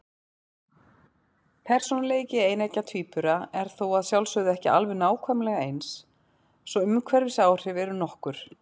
Persónuleiki eineggja tvíbura er þó að sjálfsögðu ekki alveg nákvæmlega eins, svo umhverfisáhrif eru nokkur.